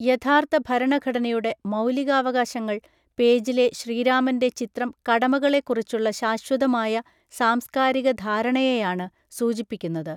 യഥാർഥ ഭരണഘടനയുടെ മൗലികാവകാശങ്ങൾ പേജിലെ ശ്രീരാമൻ്റെ ചിത്രം കടമകളെക്കുറിച്ചുള്ള ശാശ്വതമായ സാംസ്കാരിക ധാരണയെയാണു സൂചിപ്പിക്കുന്നത്